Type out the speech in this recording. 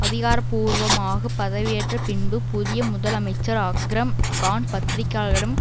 அதிகாரபூர்வமாக பதவியேற்ற பின்பு புதிய முதல் அமைச்சர் அக்ரம் கான் பத்திரிகையாளர்களிடம்